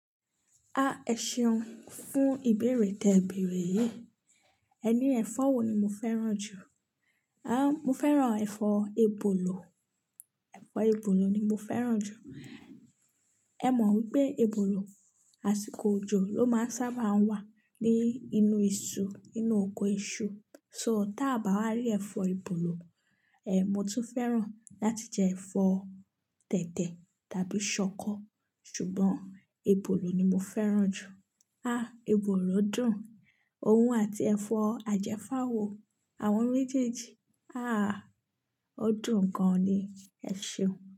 Ah ẹṣeun, fún ìbéèrè tẹ̀bẹ̀rè yìí. Ẹní ẹ̀fọ́ wo ni mo fẹ́ràn jù? Ah mo fẹ́ràn ẹ̀fọ́ ebolo, ẹ̀fọ́ ebolo ni mo fẹ́ràn jù. E mọ̀ wípé ebola, àsìkò òjò ló máa ń sábà wà ní inú iṣu, nínú oko iṣu. So tá a bá rí ẹ̀fọ́ ebolo.eh mo tún fẹ́ràn láti jẹ ẹ̀fọ́ tẹ̀tẹ̀ tàbí ṣọkọ ṣùgbọ́n ebolo ni mo fẹ́ràn jù. Ah ebolo dùn-ún, òun àti ẹ̀fọ́ ajẹ́fáwò, àwọn méjèèjì ah o dùn gan ni. Ẹ ṣeun.